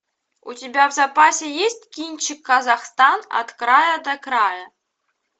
у тебя в запасе есть кинчик казахстан от края до края